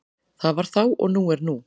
Það var þá og nú er nú.